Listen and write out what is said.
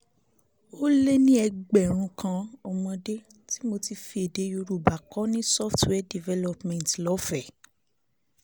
ó lé ní ẹgbẹ̀rún kan ọmọdé tí mo ti fi èdè yorùbá kọ́ ní fifty two naira software development fifty two naira lọ́fẹ̀ẹ́